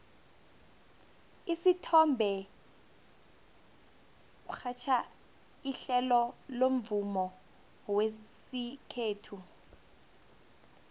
usithombe urhatjha ihlelo lomvumo wesikhethu